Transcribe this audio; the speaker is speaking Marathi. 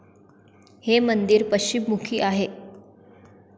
हे मंदिर पश्चिम मुखी आहे